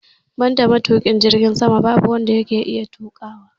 Banda matuki jirgin sama babu wanda yake iya tuƙawa